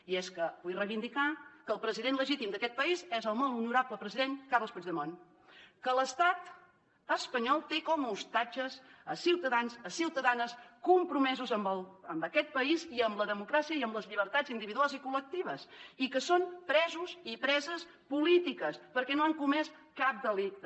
i és que vull reivindicar que el president legítim d’aquest país és el molt honorable president carles puigdemont que l’estat espanyol té com a ostatges a ciutadans i ciutadanes compromesos amb aquest país i amb la democràcia i amb les llibertats individuals i col·lectives i que són presos i preses polítiques perquè no han comès cap delicte